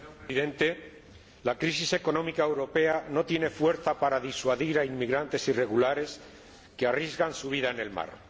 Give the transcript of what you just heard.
Señor Presidente, la crisis económica europea no tiene fuerza para disuadir a inmigrantes irregulares que arriesgan su vida en el mar.